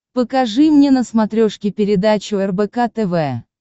покажи мне на смотрешке передачу рбк тв